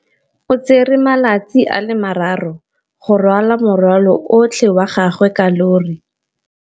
O tsere malatsi a le marraro go rwala morwalo otlhe wa gagwe ka llori.